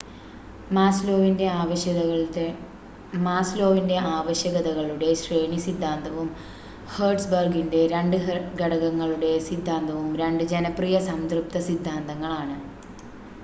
മാസ്‌ലോവിൻ്റെ ആവശ്യകതകളുടെ ശ്രേണി സിദ്ധാന്തവും ഹേർട്സ്ബർഗിൻ്റെ രണ്ട് ഘടകങ്ങളുടെ സിദ്ധാന്തവും രണ്ട് ജനപ്രിയ സംതൃപ്ത സിദ്ധാന്തങ്ങൾ ആണ്